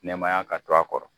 Nɛmaya ka to a kɔrɔ.